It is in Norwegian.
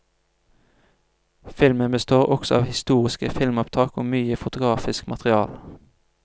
Filmen består også av historiske filmopptak og mye fotografisk materiale.